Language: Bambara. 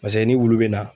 Paseke ni wulu bɛ na